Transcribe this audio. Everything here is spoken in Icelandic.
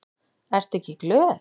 Ertu ekki glöð?